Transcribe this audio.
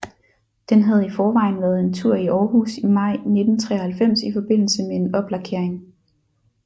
Den havde i forvejen været en tur i Aarhus i maj 1993 i forbindelse med en oplakering